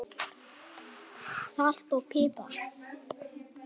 Salt og pipar